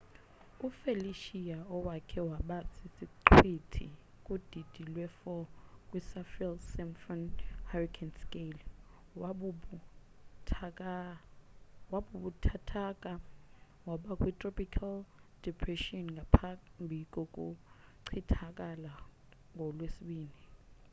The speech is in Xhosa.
ufelicia owayekhe waba sisiqhwithi kudidi lwe 4 kwisaffir-simpson hurricane scale wababuthathaka waba kwi-tropical depressionngaphambi kokuchithakala ngolwesibini